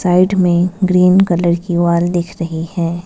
Right में green colour की wall दिख रही है।